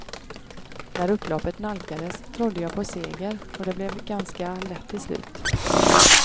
När upploppet nalkades trodde jag på seger och det blev ganska lätt till slut.